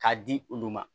K'a di ulu ma